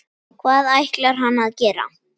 Hvað ætlar hann að gera?